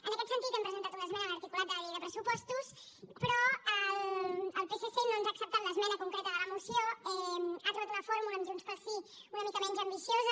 en aquest sentit hem presentat una esmena a l’articulat de la llei de pressupostos però el psc no ens ha acceptat l’esmena concreta de la moció ha trobat una fórmula amb junts pel sí una mica menys ambiciosa